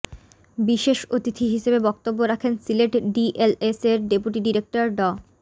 বিশেষ অতিথি হিসেবে বক্তব্য রাখেন সিলেট ডিএলএস এর ডেপুটি ডিরেক্টর ড